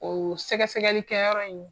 O sɛgɛ sɛgɛli kɛ yɔrɔ in